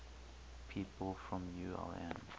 people from ulm